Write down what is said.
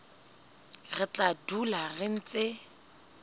re tla dula re ntse